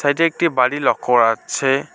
এইটা একটি বাড়ি লক্ষ্য করা যাচ্ছে।